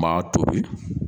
N m'a tobi.